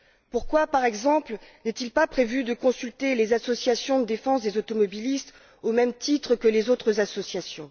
Pourquoi, par exemple, n'est il pas prévu de consulter les associations de défense des automobilistes au même titre que les autres associations?